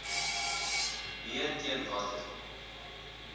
b teen watter